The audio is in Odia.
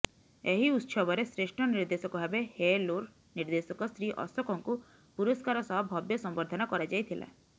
ଏହି ଉତ୍ସବରେ ଶ୍ରେଷ୍ଠ ନିଦେ୍ର୍ଧଶକ ଭାବେ ହେଏଲୁର ନିର୍ଦ୍ଦେଶକ ଶ୍ରୀ ଅଶୋକଙ୍କୁ ପୁରସ୍କାର ସହ ଭବ୍ୟ ସମ୍ବର୍ଦ୍ଧନା କରାଯାଇଥିଲା